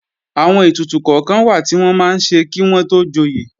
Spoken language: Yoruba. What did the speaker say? Àwọn ètùtù kọ́kan wà tí wọ́n máa ń ṣe kí wọ́n tó joyè